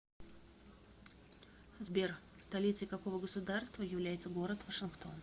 сбер столицей какого государства является город вашингтон